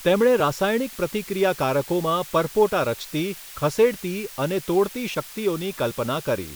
તેમણે રાસાયણિક પ્રતિક્રિયાકારકોમાં પરપોટા રચતી, ખસેડતી અને તોડતી શક્તિઓની કલ્પના કરી.